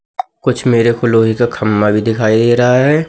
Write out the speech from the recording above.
कुछ मेरे को लोहे का खंभा भी दिखाई दे रहा है।